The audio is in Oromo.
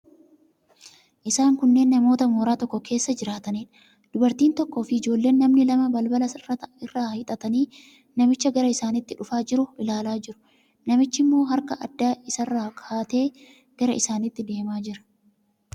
Isaan kunneen namoota mooraa tokko keessa jiraataniidha. Dubartiin tokkoofi ijoolleen namni lama balbala irraan hiixatanii namicha gara isaaniitti dhufaa jiru ilaalaa jiru. Namichichi immoo harka adda isaarra ka'atee gara isaaniitti deemaa jira.